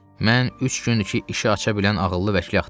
Mən üç gündür ki, işi aça bilən ağıllı vəkili axtarıram.